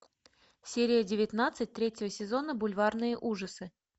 серия девятнадцать третьего сезона бульварные ужасы